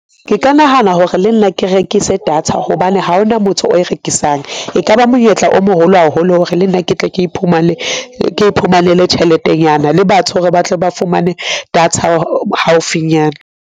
Ke ka nahana hore le nna ke rekise data hobane ha hona motho o e rekisang. Ekaba monyetla o moholo haholo hore le nna ke tle ke iphumane ke iphumanele tjheletenyana le batho hore ba tle ba fumane data haufinyana.